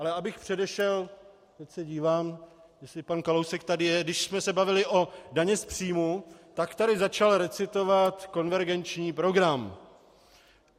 Ale abych předešel, tak se dívám, jestli pan Kalousek tady je, když jsme se bavili o dani z příjmů, tak tu začal recitovat konvergenční program.